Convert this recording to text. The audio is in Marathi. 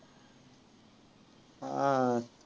हां.